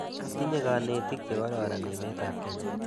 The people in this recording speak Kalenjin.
Tinye kanetik che kororon emet ap Kenya.